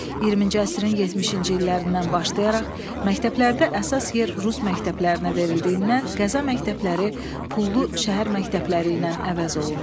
20-ci əsrin 70-ci illərindən başlayaraq məktəblərdə əsas yer rus məktəblərinə verildiyindən Qəza məktəbləri pullu şəhər məktəbləri ilə əvəz olundu.